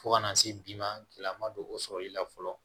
Fo kana se bi ma keleya ma don o sɔrɔli la fɔlɔ